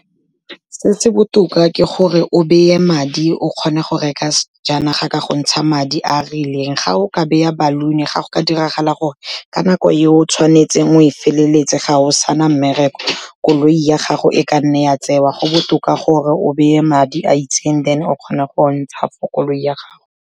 Se se botoka ke gore o beye madi o kgone go reka sejanaga ka go ntsha madi a rileng. Ga o ka beya baluni, ga go ka diragala gore ka nako eo o tshwanetseng o e feleletse ga o sana mmereko, koloi ya gago e ka nna ya tsewa, go botoka gore o beye madi a itseng then o kgone go ntsha for koloi ya gago.